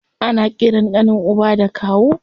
Ana ƙiran ƙanin uba da kawu.